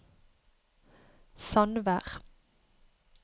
Sandvær